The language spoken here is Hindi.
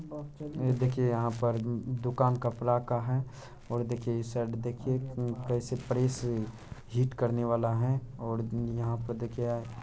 ये देखिए यहाँ पर दु दुकान कपड़ा का है और देखिए इ साइड देखिए कैसे प्रेस हीट करने वाला है और यहां पर देखिये --